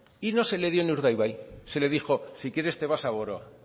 y no se le dio en urdaibai se le dijo si quieres te vas a boroa